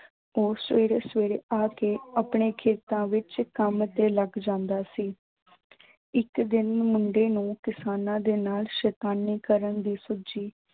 ਉਹ ਸਵੇਰੇ ਸਵੇਰੇ ਆ ਕੇ ਆਪਣੇ ਖੇਤਾਂ ਵਿੱਚ ਕੰਮ ਤੇ ਲੱਗ ਜਾਂਦਾ ਸੀ ਇੱਕ ਦਿਨ ਮੁੰਡੇ ਨੂੰ ਕਿਸਾਨਾਂ ਦੇ ਨਾਲ ਸੈਤਾਨੀ ਕਰਨ ਦੀ ਸੁੱਝੀ।